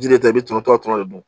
Jiri ta i bɛ tɔnɔ tɔɔrɔ de don